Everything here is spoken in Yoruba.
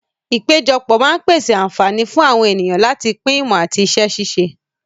Ìpéjọpọ̀ máa ń pèsè àǹfààní fún àwọn ènìyàn láti pín ìmọ̀ àti iṣẹ́ ṣíṣe.